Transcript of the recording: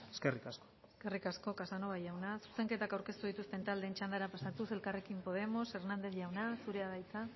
eskerrik asko eskerrik asko casanova jauna zuzenketak aurkeztu dituzten taldeen txandara pasatuz elkarrekin podemos hernández jauna zurea da hitza